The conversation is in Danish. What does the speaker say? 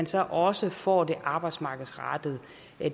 så også får den arbejdsmarkedsrettede